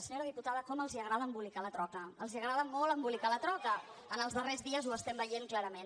senyora diputada com els agrada embolicar la troca els agrada molt embolicar la troca els darrers dies ho estem veient clarament